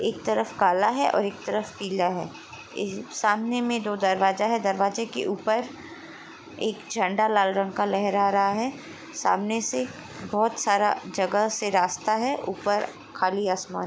एक तरफ काला है और एक तरफ पीला है सामने में दो दरवाजा है दरवाजे के ऊपर एक झण्डा लाल रंग का लहर रहा है सामने से बहुत सारा जगह से रास्ता है ऊपर खुली आसमान--